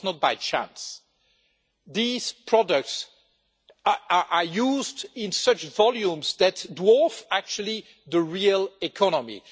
This was not by chance. These products are used in such volumes that they dwarf the real economy.